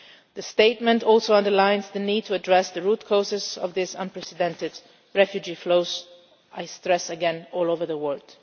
well. The statement also underlines the need to address the root causes of these unprecedented refugee flows, I stress again, all over the world.